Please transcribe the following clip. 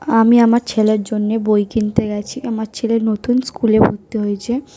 আমি আমার ছেলের জন্যে বই কিনতে গেছি। আমার ছেলে নতুন স্কুল -এ ভর্তি হয়েছে।